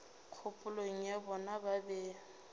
kgopolong ya bona ba be